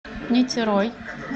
нитерой